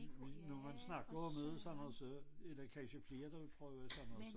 Vi nu man snakker om det sådan så er der kansje flere der vil prøve sådan noget så